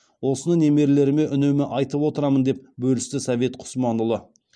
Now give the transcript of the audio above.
осыны немерелеріме үнемі айтып отырамын деп бөлісті совет құсманұлы